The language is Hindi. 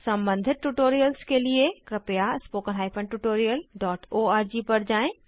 सम्बंधित ट्यूटोरियल्स के लिए कृपया spoken tutorialओआरजी पर जाएँ